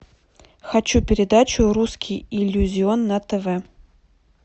хочу передачу русский иллюзион на тв